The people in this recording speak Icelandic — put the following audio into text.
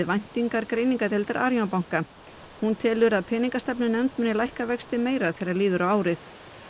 væntingar greiningadeildar Arion banka hún telur peningastefnunefnd muni lækka vexti meira þegar líður á árið